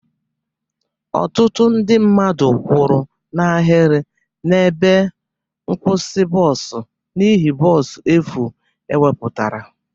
Ọtụtụ ndị mmadụ kwụrụ n'ahịrị na ebe nkwusi bọs n'ihe bọs efu e wepụtara.